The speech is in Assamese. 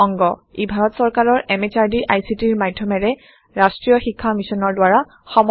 ই ভাৰত সৰকাৰৰ MHRDৰ ICTৰ মাধ্যমেৰে ৰাষ্ট্ৰীয় শীক্ষা মিছনৰ দ্ৱাৰা সমৰ্থিত হয়